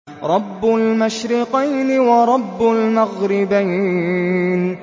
رَبُّ الْمَشْرِقَيْنِ وَرَبُّ الْمَغْرِبَيْنِ